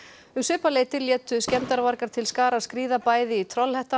um svipað leyti létu til skarar skríða bæði í